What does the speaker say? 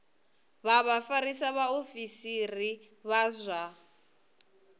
vha vhafarisa vhaofisiri vha zwa